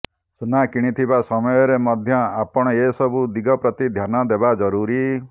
ସୁନା କିଣୁଥିବା ସମୟରେ ମଧ୍ୟ ଆପଣ ଏ ସବୁ ଦିଗ ପ୍ରତି ଧ୍ୟାନ ଦେବା ଜରୁରୀ